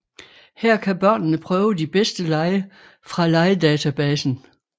Her kan børnene prøve de bedste lege fra legedatabasen